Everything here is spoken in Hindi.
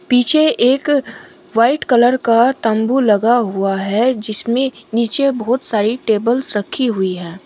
पीछे एक वाइट कलर का तंबू लगा हुआ है जिसमें नीचे बहोत सारी टेबल्स रखी हुई हैं।